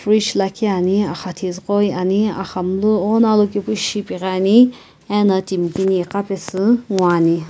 frige lakhi ani axathizü qoyi ani axamunu ighono alokepushi ipighiani ena timi kini iqa pesu ngoani.